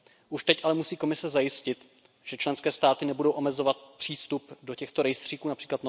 Už teď ale musí Komise zajistit, že členské státy nebudou omezovat přístup do těchto rejstříků např.